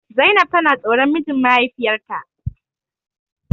Zainab tana tsoron mijin mahaifiyarta.